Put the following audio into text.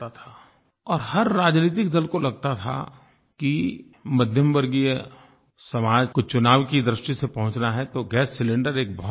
और हर राजनैतिक दल को लगता था कि मध्यमवर्गीय समाज को चुनाव की दृष्टि से पहुँचना है तो गैस सिलिंडर एक बहुत बड़ाइश्यू है